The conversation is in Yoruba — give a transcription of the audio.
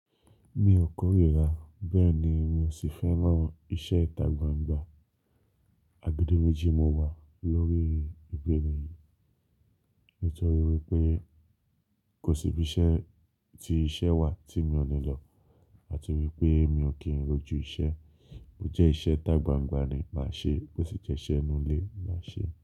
Mi ò kórìíra, bẹ́ẹ̀ ni mi ò sì fẹ́ràn iṣẹ́ ìtagbangba. Agbedeméjì mo wà lórí ìpìlẹ̀ yìí nítorí wípé kò sí ibi iṣẹ́ tí iṣẹ́ wà tí mi ò ní lọ àti wípé mi ò kí ń rojú iṣẹ́. Ó jẹ́ iṣẹ́ tagbangba ni màá ṣeé, bó sì jẹ́'ṣẹ́ inú ilé màá ṣeé.